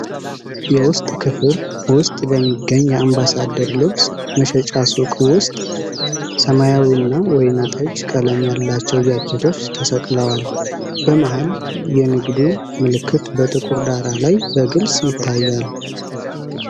የውስጥ ክፍል ውስጥ በሚገኝ የአምባሳደር ልብስ መሸጫ ሱቅ ውስጥ ሰማያዊና ወይን ጠጅ ቀለም ያላቸው ጃኬቶች ተሰቅለዋል። በመሃል የንግዱ ምልክት በጥቁር ዳራ ላይ በግልጽ ይታያል።